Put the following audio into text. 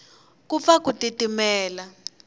ku pfa ku titimela